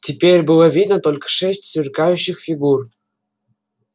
теперь было видно только шесть сверкающих фигур